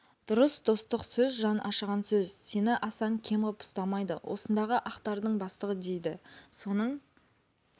дұрыс достық сөз жан ашыған сөз сені асан кем ғып ұстамайды осындағы ақтардың бастығы дейді соның